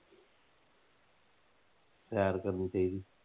ਸੈਰ ਕਰਨੀ ਚਾਹੀਦੀ।